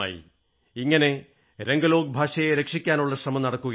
ഇങ്ങനെ രംഗലോക് ഭാഷയെ സംരക്ഷിക്കാനുള്ള ശ്രമം നടക്കുകയാണ്